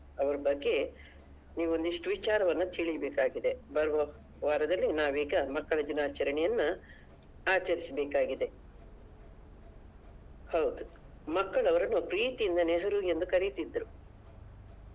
ಅವ್ರ ಬಗ್ಗೆ ನೀವು ಒಂದಿಷ್ಟು ವಿಚಾರವನ್ನ ನೀವು ತಿಳಿಬೇಕಿದೆ ಬರುವ ವಾರದಲ್ಲಿ ನಾವೀಗ ಮಕ್ಕಳ ದಿನಾಚರಣೆಯನ್ನಾ ಆಚರಿಸ್ಬೇಕಾಗಿದೆ ಹೌದು ಮಕ್ಕಳು ಅವರನ್ನು ಪ್ರೀತಿಯಿಂದ ನೆಹರು ಎಂದು ಕರೀತಿದ್ರು.